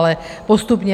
Ale postupně.